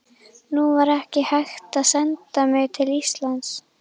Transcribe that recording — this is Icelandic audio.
Nú var ekki hægt að senda mig til Íslands.